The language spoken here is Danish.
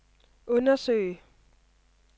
undersøge